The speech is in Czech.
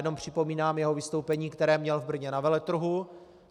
Jenom připomínám jeho vystoupení, které měl v Brně na veletrhu.